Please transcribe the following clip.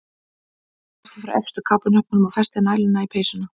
Bára hneppti frá efstu kápuhnöppunum og festi næluna í peysuna.